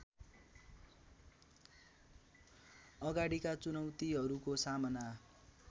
अगाडिका चुनौतीहरूको सामना